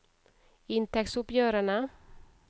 inntektsoppgjørene